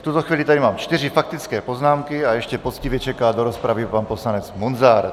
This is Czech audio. V tuto chvíli tady mám čtyři faktické poznámky a ještě poctivě čeká do rozpravy pan poslanec Munzar.